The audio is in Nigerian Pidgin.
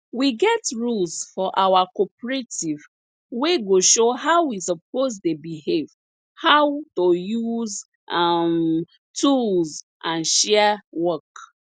we get rules for our cooperative wey go show how we suppose dey behave how to use um tools and share work